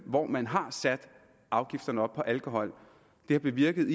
hvor man har sat afgifterne op på alkohol det har bevirket